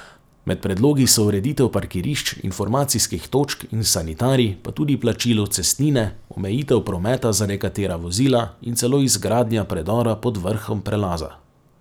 Med predlogi so ureditev parkirišč, informacijskih točk in sanitarij, pa tudi plačilo cestnine, omejitev prometa za nekatera vozila in celo izgradnja predora pod vrhom prelaza.